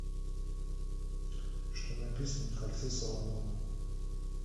что написано на кольце соломона